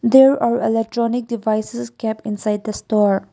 there are electronic devices kept inside the store.